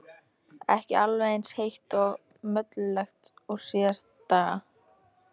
Ekki alveg eins heitt og mollulegt og síðustu daga.